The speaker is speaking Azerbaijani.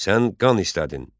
Sən qan istədin.